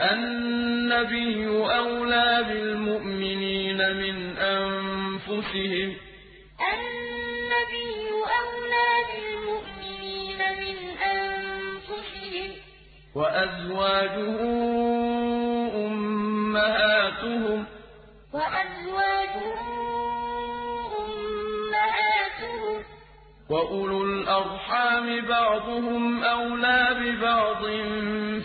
النَّبِيُّ أَوْلَىٰ بِالْمُؤْمِنِينَ مِنْ أَنفُسِهِمْ ۖ وَأَزْوَاجُهُ أُمَّهَاتُهُمْ ۗ وَأُولُو الْأَرْحَامِ بَعْضُهُمْ أَوْلَىٰ بِبَعْضٍ